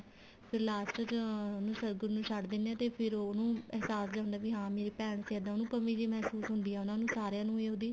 ਫੇਰ last ਚ ਸਰਗੁਣ ਨੂੰ ਛੱਡ ਦਿਨੇ ਏ ਤੇ ਫੇਰ ਉਹਨੂੰ ਇਹਸਾਸ ਜਾ ਹੁੰਦਾ ਵੀ ਹਾਂ ਮੇਰੇ ਭੈਣ ਤੇ ਇੱਦਾਂ ਉਹਨੂੰ ਕੰਮੀ ਜੀ ਮਹਿਸੂਸ ਹੁੰਦੀ ਏ ਉਹਨਾ ਨੂੰ ਸਾਰੀਆਂ ਨੂੰ ਹੀ ਉਹਦੀ